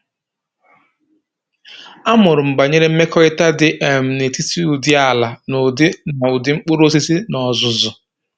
A mụrụ m banyere mmekọrịta dị um n’etiti ụdị ala na ụdị na ụdị mkpụrụosisi n’ọzụzụ.